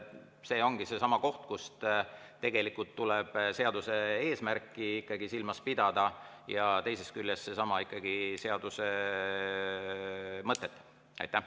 See ongi seesama koht, kus tuleb silmas pidada ikkagi seaduse eesmärki ja teisest küljest seaduse mõtet.